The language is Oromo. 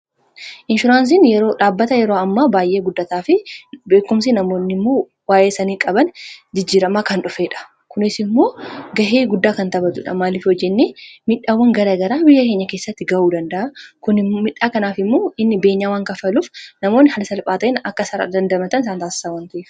inshuraansiin yeroo dhaabbata yeroo ammaa baay'ee guddataa fi beekumsii namoonni immuu waayee sanii qaban jijjiramaa kan dhufeedha kunis immoo gahee guddaa kan taphatudha maaliif hoo jenne midhaawwan gara garaa biyya keenya keessatti ga'uu danda'a kun midhaa kanaaf immoo inni beenyaawwan kafaluuf namoonni haala salphaa ta'en akka isaan dandamatan isaan taasasa waan ta'eef.